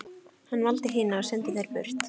Hann valdi hina og sendi þær burt.